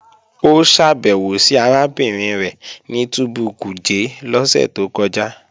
Ó ṣàbẹ̀wò sí arábìnrin rẹ̀ ní túbú Kuje lọ́sẹ̀ tó kọjá